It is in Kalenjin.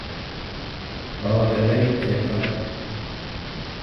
kokoberberit chebto